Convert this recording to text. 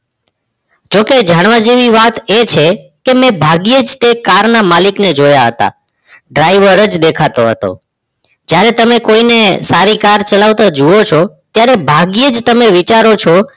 જો કે જાણવ જેવી વાત એ છે કે મે ભાગ્યે જ તે car ના મલિક ને જોયા હતા. driver જ દેખતો હતો. જ્યારે તમે કોઇ ને સારી car ચલાવતો જોવો છો ત્યારે ભાગ્ય઼ એજ તમે વિચારો છો